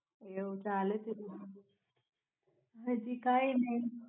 આવુ ચલે છે હાજી કાઈ નય.